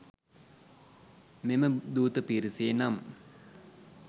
මෙම දූත පිරිසේ නම්